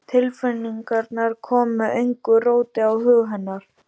Tilfinningarnar koma engu róti á hug hennar.